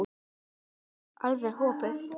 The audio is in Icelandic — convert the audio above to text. Þemað var alveg opið.